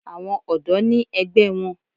Àwọn ọ̀dọ́ náà ní ẹgbẹ́ wọn.